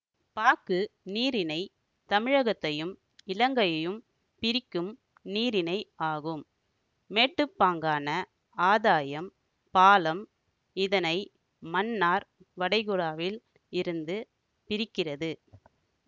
பாக்கு நீரிணை தமிழகத்தையும் இலங்கையையும் பிரிக்கும் நீரிணை ஆகும் மேட்டுப்பாங்கான ஆதாயம் பாலம் இதனை மன்னார் வடைகுடாவில் இருந்து பிரிக்கிறது